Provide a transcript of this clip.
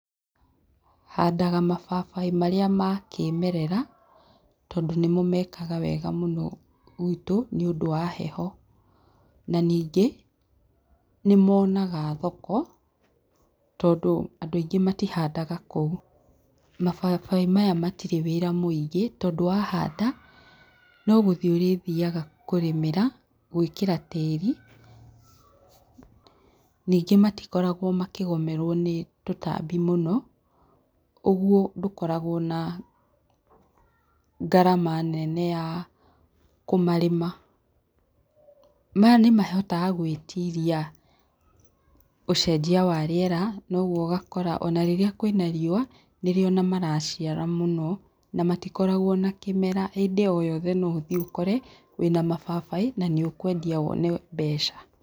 Handaga mababaĩ marĩa ma kĩĩmerera, tondũ nĩ mo meekaga wega mũno gwĩtũ nĩũndũ wa heho. Na ningĩ, nĩ moonaga thoko tondũ andũ aingĩ matihandaga kũu. Mababaĩ maya matirĩ wĩra mũingĩ tondũ wa handa, no gũthiĩ ũrĩthiaga kũrĩmĩra, gwĩkĩra tĩĩri. Ningĩ matikoragwo makĩgomerwo nĩ tũtambi mũno, ũguo ndũkoragwo na ngarama nene ya kũmarĩma. Maya nĩ mahotaga gwĩtiria ũcenjia wa rĩera na ũguo ũgakora o na rĩrĩa kwĩna riũa, nĩ rĩo ona maraciara mũno na matikorwgwo na kĩmera, hĩndĩ o yothe no ũthiĩ ũkore wĩna mababaĩ na nĩ ũkwendia wone mbeca.